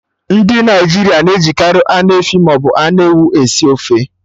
Ndị Naịjirịa na-ejikari anụ efi maọbụ anụ ewu esi ofe